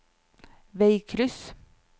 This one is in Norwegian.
veikryss